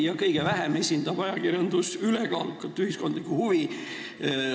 Ja kõige vähem esindab ajakirjandus ülekaalukat ühiskondlikku huvi.